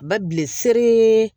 Babilen se